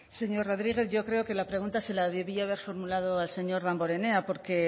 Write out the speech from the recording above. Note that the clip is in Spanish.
señor rodriguez yo creo que la pregunta se la debía haber formulado al señor damborenea porque